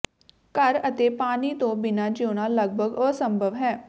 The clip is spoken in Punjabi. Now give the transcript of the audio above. ਘਰ ਅਤੇ ਪਾਣੀ ਤੋਂ ਬਿਨਾਂ ਜੀਉਣਾ ਲਗਭਗ ਅਸੰਭਵ ਹੈ